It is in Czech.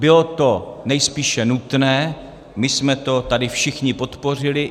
Bylo to nejspíše nutné, my jsme to tady všichni podpořili.